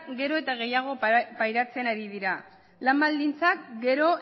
gero etagehiago pairatzen ari dira lan baldintzak gero